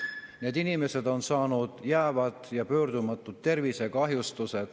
Need inimesed on saanud jäävaid ja pöördumatuid tervisekahjustusi.